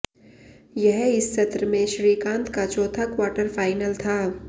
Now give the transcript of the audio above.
यह इस सत्र में श्रीकांत का चौथा क्वार्टर फाइनल था